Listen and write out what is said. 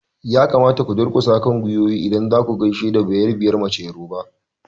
Ya kamata ku durkusa kan gwiwoyinku idan zaku gaishe da bayerabiyar mace yoruba!